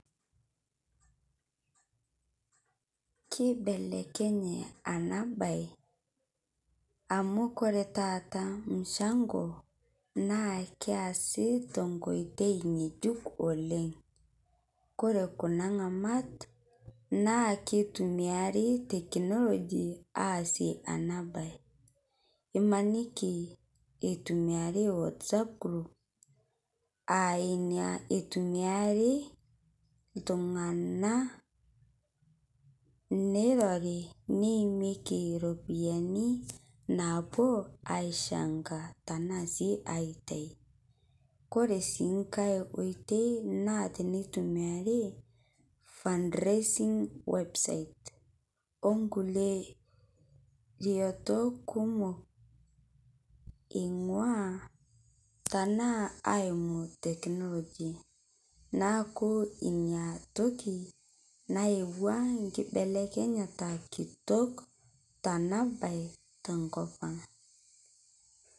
Kibelekenye ena mbae amu ore taata mchango naa keesi tenkoitoi ng'ejuk oleng ore Kuna ng'amat naa naa kutumia technology asie ena mbae emaniki etumiai WhatsApp group enaa tumia iltung'ana neirori neimikie eropiani naapuo changa arashu aitau ore sii nkae oitoi naa ene tumia fundraising website oo nkulie retot kumok eingua tenaa aingua technology neeku enatoki nayaua enkinelekenyata kitok Tena mbae tenkop ang